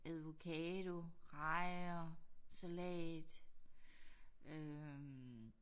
Avocado rejer salat øh